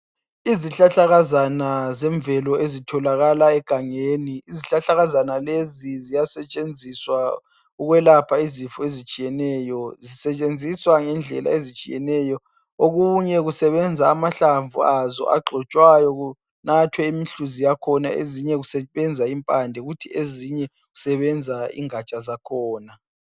Izihlahlakazana zemvelo ezitholakala egangeni ziyasetshenziswa ukwelapha izifo ezitshiyeneyo. Zisetshenziswa ngendlela ezitshiyeneyo. Okunye kusebenza amahlamvu azo agxotshwayo kunathwe imihluzi yakhona ezinye kusebenza impande kuthi ezinye kusebenza ingatsha zakhona.